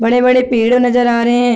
बड़े बड़े पेड़ नज़र आ रहे हैं |